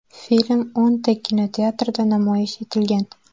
Film o‘nta kinoteatrda namoyish etilgan.